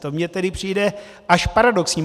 To mi tedy přijde až paradoxní.